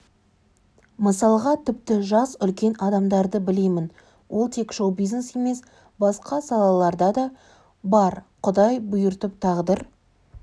мысалға тіпті жас үлкен адамдарды білемін олтек шоу-бизнес емес басқа салаларда да бар құдай бұйыртып тағдыр